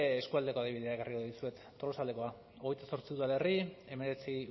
eskualdeko adibideak jarriko dizute tolosaldekoa hogeita zortzi udalerri hemeretzi